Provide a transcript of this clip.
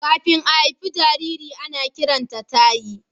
Kafin a haifi jariri, ana kiranta tayi.